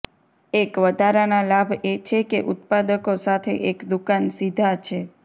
એક વધારાનાં લાભ એ છે કે ઉત્પાદકો સાથે એક દુકાન સીધા છે